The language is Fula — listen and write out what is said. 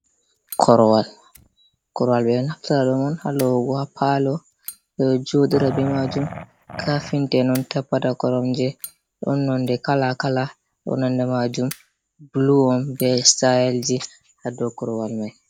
Korwal. Korowal be ɗo naftiɗum mon ha lawugo ha palo. Be ɗo jodira be majum. Kafinta en on tappata koromje. Ɗon nonɗe kala-kala bo nande majum bulu on be sitail ji ha ɗow korwal mai.